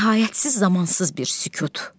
Nəhayətsiz, zamansız bir sükut.